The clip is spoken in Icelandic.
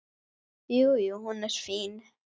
Jú, jú. hún er fín.